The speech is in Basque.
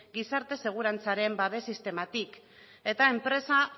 gizarte segurantzaren babes sistematik eta enpresa